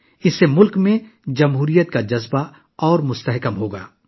اس سے ملک میں جمہوریت کا جذبہ مزید مضبوط ہوگا